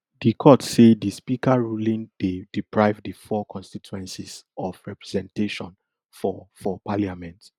di court say di speaker ruling dey deprive di four constituencies of representation for for parliament